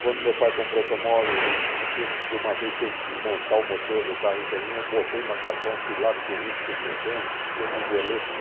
Quando meu pai comprou o automóvel, e que tinha que uma vez teve que desmontar o motor do carro inteirinho, eu botei macacão, fui lá, fiquei junto com os mecânicos, porque o Bingoleto,